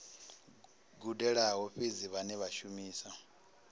gudelaho fhedzi vhane vha shumisa